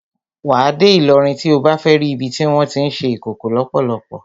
Wà á dé Ìlọrin tí o bá fẹ́ ri ibi tí wọ́n tí ń ṣe Ìkòkò lọ́pọ́lọ́pọ́.